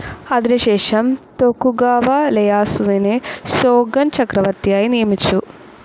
അതിനുശേഷം ടോക്കുഗാവ ലെയാസുവിനെ ഷോഗുൻ ചക്രവർത്തിയായി നിയമിച്ചു.